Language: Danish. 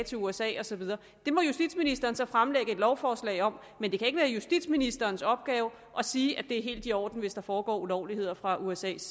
til usa og så videre det må justitsministeren så fremsætte et lovforslag om men det kan ikke være justitsministerens opgave at sige at det er helt i orden hvis der foregår ulovligheder fra usas